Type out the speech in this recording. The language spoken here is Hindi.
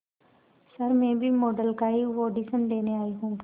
सर मैं भी मॉडल का ही ऑडिशन देने आई हूं